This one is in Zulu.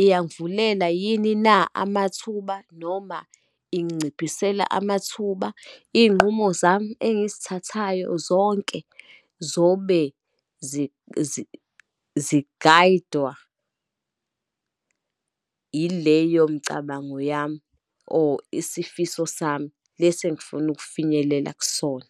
iyangivulela yini na amathuba, noma inginciphisela amathuba. Iy'nqumo zami engizithathayo zonke zobe zigayidwa ileyo mcabango yami, or isifiso sami lesi engifuna ukufinyelela kusona.